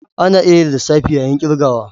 Ana iya yin lissafi yayin ƙirgawa.